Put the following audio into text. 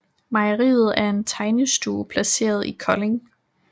Mejeriet er en tegnestue placeret i Kolding